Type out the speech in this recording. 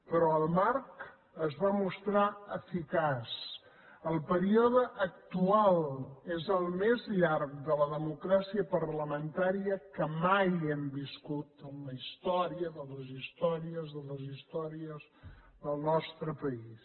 però el marc es va mostrar eficaç el període actual és el més llarg de la democràcia parlamentària que mai hem viscut en la història de les històries de les històries del nostre país